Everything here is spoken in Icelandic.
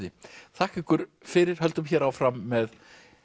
þakka ykkur fyrir höldum hér áfram með